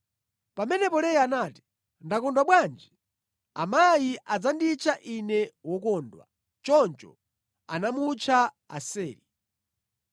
Pamenepo Leya anati, “Ndakondwa bwanji! Amayi adzanditcha ine wokondwa.” Choncho anamutcha Aseri.